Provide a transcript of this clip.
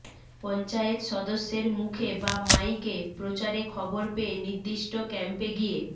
পঞ্চায়েত সদস্যের মুখে বা মাইকে প্রচারে খবর পেয়ে নির্দিষ্ট ক্যাম্পে গিয়ে